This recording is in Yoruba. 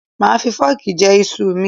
Màá fi fọ́ọ̀kì jẹ iṣu ù mi.